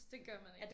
Det gør man ikke